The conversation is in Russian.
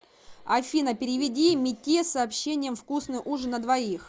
афина переведи мите с сообщением вкусный ужин на двоих